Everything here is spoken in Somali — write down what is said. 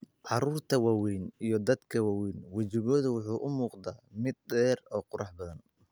Carruurta waaweyn iyo dadka waaweyn, wejigu wuxuu u muuqdaa mid dheer oo qurux badan.